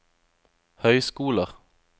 høyskoler